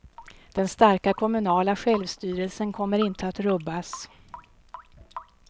Den starka kommunala självstyrelsen kommer inte att rubbas.